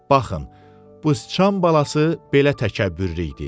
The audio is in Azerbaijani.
Baxın, bu sıçan balası belə təkəbbürlü idi.